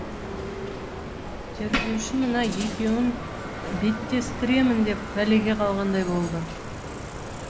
тергеуші мына екеуін беттестіремін деп пәлеге қалғандай болды